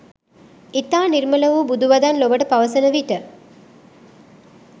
ඉතා නිර්මල වූ බුදු වදන් ලොවට පවසන විට